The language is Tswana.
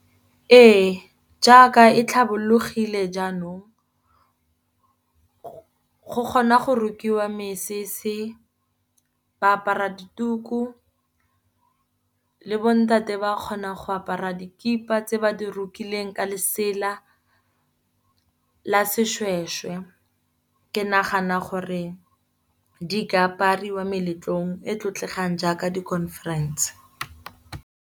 Ee, jaaka e tlhabologile jaanong go kgona go rukiwa mesese, ba apara dituku le bontate ba kgona go apara dikipa tse ba di rukileng ka lesela la seshweshwe. Ke nagana gore di ka apariwa ko meletlong e e tlotlegang jaaka di-conference.